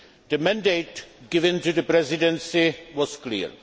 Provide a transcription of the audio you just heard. The mandate given to the Presidency was clear.